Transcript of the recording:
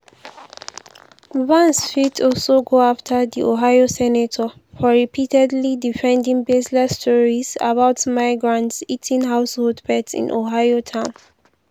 walz fit also go afta di ohio senator for repeatedly defending baseless stories about migrants eating household pets in ohio town.